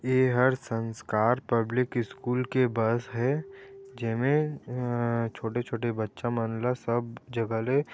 एहर Sanskar public school के bus हे जेमे अअअ छोटे-छोटे बचा मनला सब जगा ले--